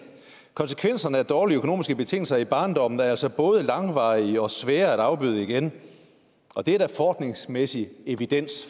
konsekvenserne af dårlige økonomiske betingelser i barndommen er altså både langvarige og svære at afbøde igen og det er der forskningsmæssig evidens